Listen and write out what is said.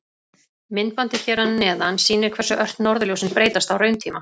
Myndbandið hér að neðan sýnir hversu ört norðurljósin breytast á rauntíma.